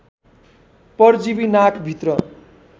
परजीवी नाक भित्र